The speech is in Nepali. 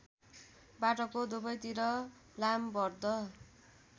बाटोको दुबैतिर लामबद्ध